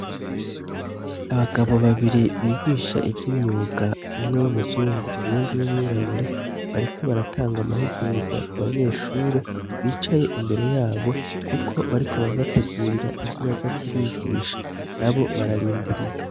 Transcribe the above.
Abagabo babiri bigisha ivyo imyuga umwe w'umuzungu uwundi w'umwirabure bariko baratanga amahugurwa ku banyeshure bicaye imbere yabo, kuko bariko barabategurira ivyo baza kubigisha na bo bararindiriye.